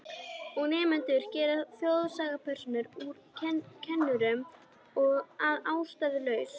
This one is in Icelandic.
Og nemendur gera þjóðsagnapersónur úr kennurum að ástæðulausu.